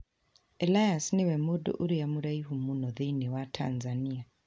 Elias nĩ we mũndũ ũrĩa mũraihu mũno thĩinĩ wa Tanzania.